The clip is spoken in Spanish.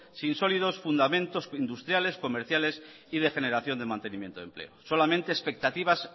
sin sólidos fundamentos industriales comerciales y de generación de mantenimiento de empleo solamente expectativas